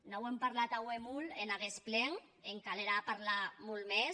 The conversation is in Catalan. n’auem parlat aué molt en aguest plen en calerà parlar molt mès